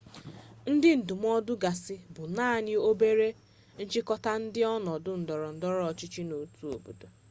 ndị ndụmọdụ gasị bụ naanị obere nchịkọta nke ọnọdụ ndọrọndọrọ ọchịchị n'otu obodo